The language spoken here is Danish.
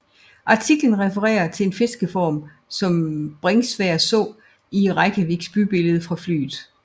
Artiklen refererer til en fiskeform som Bringsværd så i Reykjaviks bybillede fra flyet